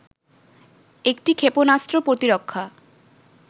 একটি ক্ষেপণাস্ত্র প্রতিরক্ষা